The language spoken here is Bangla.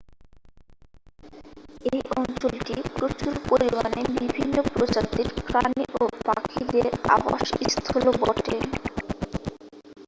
এই অঞ্চলটি প্রচুর পরিমাণে বিভিন্ন প্রজাতির প্রাণী ও পাখিদের আবাসস্থলও বটে